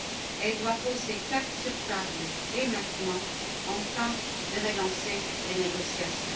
Elle doit poser cartes sur table dès maintenant, afin de relancer les négociations.